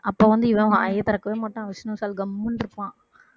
அப்ப வந்து இவன் வாயைத் திறக்கவே மாட்டான் விஷ்ணு விஷால் கம்முனு இருப்பான்